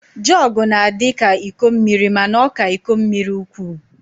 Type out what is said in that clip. Jọg na-adịka iko mmiri mana ọ ka iko mmiri ukwu